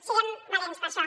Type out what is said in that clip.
siguem valents per això